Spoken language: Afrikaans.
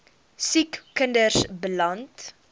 siek kinders beland